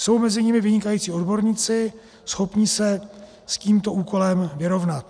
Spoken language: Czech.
Jsou mezi nimi vynikající odborníci, schopní se s tímto úkolem vyrovnat.